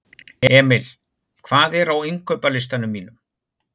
Emil, hvað er á innkaupalistanum mínum?